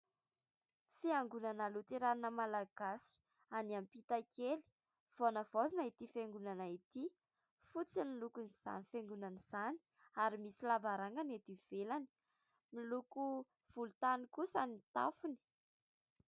Fiangonana Loterana Malagasy any ampita kely. Vao navaozina ity fiangonana ity. Fotsy ny lokon' izany Fiangonana izany, ary misy lavarangana eto ivelany. Miloko volotany kosa ny tafony.